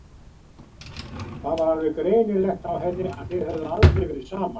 Það var alveg greinilegt á henni að þið höfðuð aldrei verið saman.